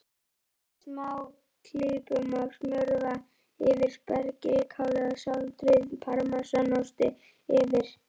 Dreifið smáklípum af smjörva yfir spergilkálið og sáldrið parmesanostinum yfir.